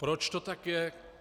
Proč to tak je?